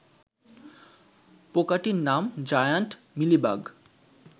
পোকাটির নাম giant mealybug.